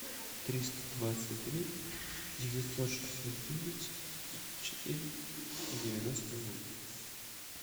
триста двадцать три девятьсот шестьдесят девять тридцать четыре девяносто ноль